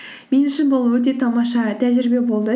мен үшін бұл өте тамаша тәжірибе болды